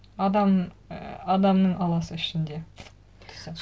і адамның аласы ішінде